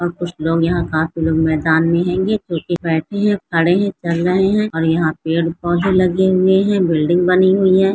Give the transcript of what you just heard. और कुछ लोग यहाँ काफी लोग मैदान में हैंगे कुछ बैठे हैं खड़े हैं चल रहें हैं और यहाँ पेड़-पौधे लगे हुए हैं बिल्डिंग बनी हुई है।